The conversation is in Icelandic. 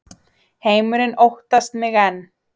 Heimurinn óttast mig enn